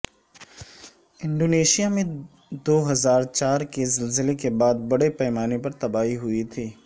Indonesia میں دو ہزار چار کے زلزلے کے بعد بڑے پیمانے پر تباہی ہوئی تھی